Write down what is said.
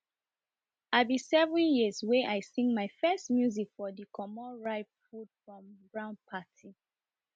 i be seven years wen i sing my first music for de comot ripe food from groud parti